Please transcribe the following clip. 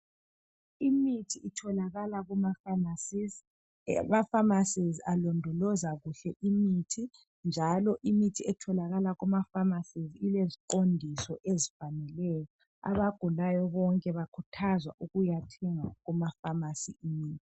imithi itholakala kuma phamarcies amaphamarcies alondoloza kahle imithi njalo imithi etholakala kuma phamarcies ileziqondiso ezifaneleyo abagulayo bonke bakhuthazwa ukuya thenga kuma phamarcy imithi